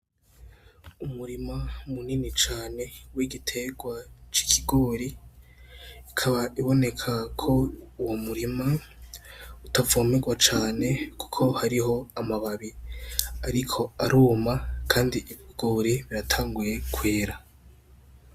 Umurima munini cane w'igitegwa c'ikigori, ukaba uboneka ko uwo murima utavomegwa cane kuko hariho amababi ariko aruma, kandi ibigori biratanguye kwera.